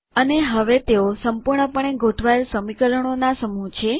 અને હવે તેઓ સંપૂર્ણપણે ગોઠવાયેલ સમીકરણોના સમૂહ છે